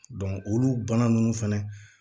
olu bana nunnu fɛnɛ